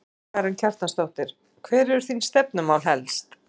Karen Kjartansdóttir: Hver eru þín stefnumál helst?